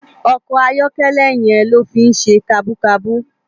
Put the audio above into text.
Òkò àyòkèlè yèn ló fi n sé kàbúkàbú